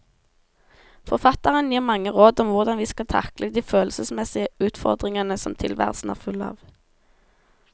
Forfatteren gir mange råd om hvordan vi skal takle de følelsesmessige utfordringer som tilværelsen er full av.